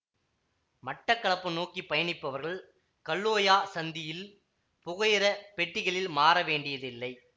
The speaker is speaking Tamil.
மட்டக்களப்பு நோக்கி பயணிப்பவர்கள் கல்லோயா சந்தியில் புகையிர பெட்டிகளில் மாறவேண்டியதில்லை